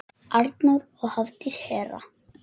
Arnþór og Hafdís Hera.